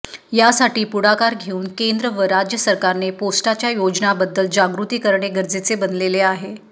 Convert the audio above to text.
यासाठी पुढाकार घेऊन केंद्र व राज्य सरकारने पोस्टाच्या योजनांबद्दल जागृती करणे गरजेचे बनले आहे